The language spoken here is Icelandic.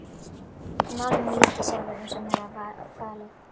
En málinu lýk ég sjálfur, eins og mér var falið.